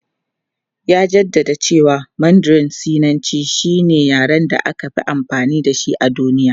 Ya jaddada cewa Mandarin Sinanci shine yaren da aka fi amfani da shi a duniya.